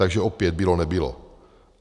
Takže opět bylo - nebylo.